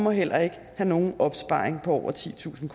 og heller ikke nogen opsparing på over titusind